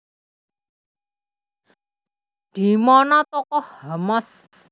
Di Mana Tokoh Hamas